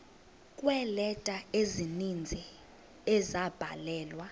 kweeleta ezininzi ezabhalelwa